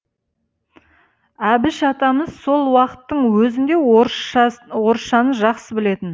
әбіш атамыз сол уақыттың өзінде орысшаны жақсы білетін